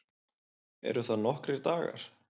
Eru það nokkrir dagar?